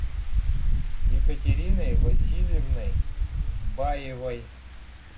екатериной васильевной баевой